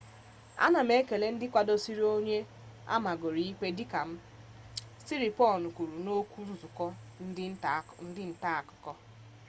ana m ekele ndị kwadoro onye amagoro ikpe dịka m siriporn kwuru n'otu nzukọ ndị nta akụkọ